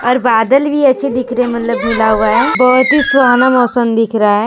और बादल भी अच्छे दिख रहे हैं मतलब घुला हुआ है बहुत ही सुहाना मौसम दिख रहा है।